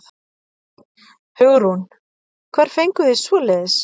Hugrún: Hvar fenguð þið svoleiðis?